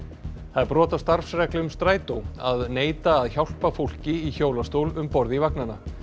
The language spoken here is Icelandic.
það er brot á starfsreglum Strætó að neita að hjálpa fólki í hjólastól um borð í vagnana